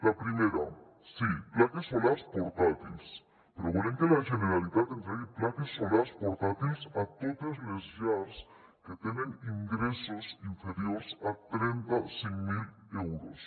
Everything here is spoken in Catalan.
la primera sí plaques solars portàtils però volem que la generalitat entregui plaques solars portàtils a totes les llars que tenen ingressos inferiors a trenta cinc mil euros